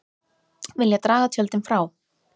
Vilja draga tjöldin frá